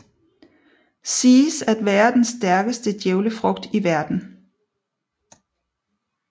Siges at være den stærkeste djævlefrugt i verden